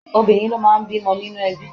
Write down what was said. Obìnrin ló máa ń bímọ nínú ẹbí.